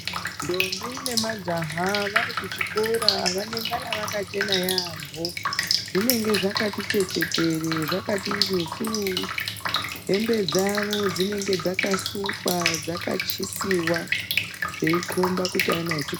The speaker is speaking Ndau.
Ndombi nemajaha vari kuchikora vanengana vakachena yaamho. Zvinenge zvakati chechetere, zvakati njusuu. Hembe dzavo dzinenge dzakasukwa dzakachisiwa zveikomba kuti ana echikora.